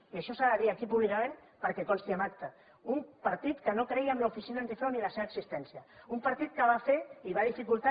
i això s’ha de dir aquí públicament perquè consti en acta un partit que no creia en l’oficina antifrau ni en la seva existència un partit que va fer i va dificultar